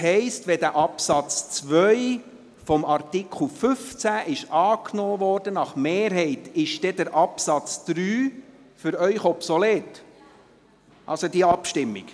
Heisst das, wenn dieser Absatz 2 des Artikels 15 gemäss Mehrheitsantrag angenommen wurde, dass die Abstimmung zum Absatz 3 in diesem Fall für Sie obsolet ist?